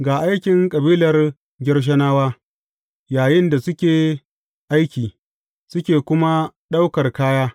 Ga aikin kabilar Gershonawa yayinda suke aiki, suke kuma ɗaukar kaya.